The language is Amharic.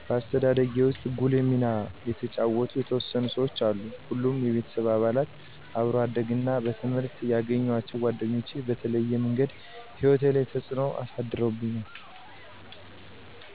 በአስተዳደጌ ውስጥ ጉልህ ሚና የተጫወቱ የተወሰኑ ሰዎች አሉ ሁሉም የቤተሰብ አባላት፣ አብሮ አደግ እና በትምህረት የገኘዋቸዉ ጓደኞች በተለያየ ምንገድ ህይወቴ ላይ ተጽዕኖ አሳድረዉብኛል።